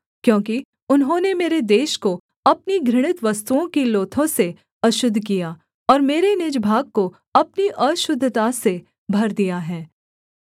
क्योंकि उन्होंने मेरे देश को अपनी घृणित वस्तुओं की लोथों से अशुद्ध किया और मेरे निज भाग को अपनी अशुद्धता से भर दिया है